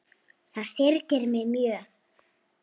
Það syrgir mig mjög.